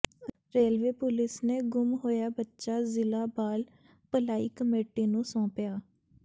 railway police ਨੇ ਗੁੰਮ ਹੋਇਆ ਬੱਚਾ ਜ਼ਿਲ੍ਹਾ ਬਾਲ ਭਲਾਈ ਕਮੇਟੀ ਨੂੰ ਸੌਂਪਿਆ